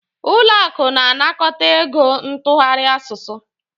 Ụlọ akụ na-anakọta ego ntụgharị asụsụ.